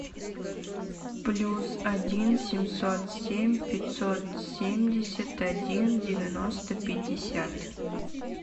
плюс один семьсот семь пятьсот семьдесят один девяносто пятьдесят